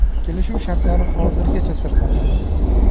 Kelishuv shartlari hozirgacha sir saqlanadi.